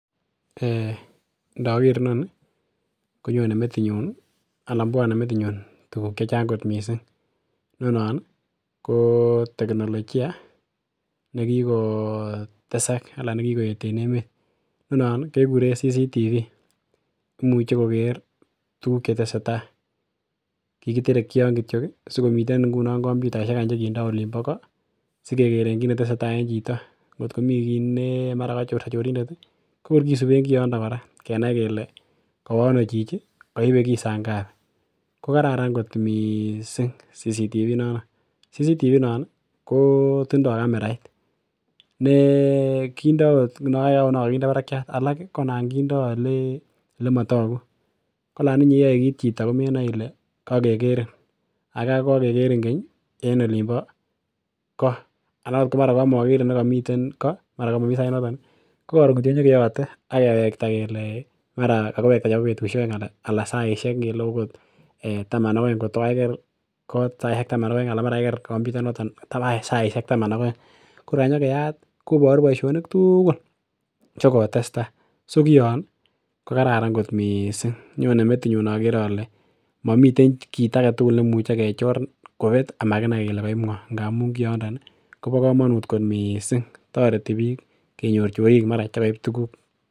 um Inoker inoni konyone metinyun anan bwone metinyun tuguk chechang kot missing inon ih ko teknologia nekikotesak anan nekikoet en emet. Inonon ih kekerun CCTV imuche koker tuguk chetesetaa. Kikiterekyi yon kityok ih sikomiten ngunon komputaisiek chekikinde olin bo ko sikekeren kit netesetai en chito ngotko mi kiy ne mara kachorso chorindet ih kokor kisiben koroito kora kenai kele kowo ano chichi koibe kii saa ngapi, kokararan kot missing CCTV inon, CCTV inon ih ko tindoo camerait ne kindoo okot nekokinde barakiat alak ih konon kindoo elemotogu ko olan iyoe kit chito komenoe ile kokekerin aka kokokerin keny en olin bo ko anan ot mara kamokerin nemiten ko mara komomii sait noton ih kokoron kityok konyokeyote akewekta kele mara kakiwekta chebo betusiek oeng anan saisiek ngele okot taman ak oeng kotkokakoker kot saisiek taman ak oeng anan mara kakiker komputa inoton saisiek taman ak oeng ko kor kanyakeyat koboru boisionik tugul chekotestaa so kion ih kokararan kot missing nyone metinyun inokere ole momiten kit aketugul nekimuche kechor kobet amakinai kele koib ng'oo ngamun kiondon ih kobo komonut kot missing toreti biik kenyor chorik mara chekoib tuguk